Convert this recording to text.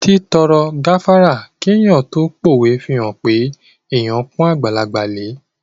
Títọrọ gáfárà kí èèyàn tó pówe fihàn pé èèyàn pọ́n àgbàlagbà lẹ